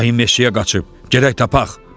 Ayı meşəyə qaçıb, gedək tapaq.